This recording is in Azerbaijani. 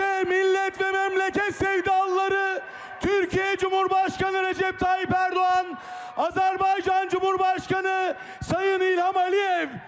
İşte millət və məmləkət sevdalıları, Türkiyə Cümhurbaşqanı Rəcəb Tayyib Ərdoğan, Azərbaycan Cümhurbaşqanı Sayın İlham Əliyev.